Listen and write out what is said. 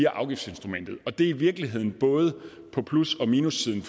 afgiftsinstrumentet og det er i virkeligheden både på plus og minussiden